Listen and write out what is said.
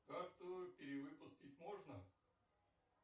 карту перевыпустить можно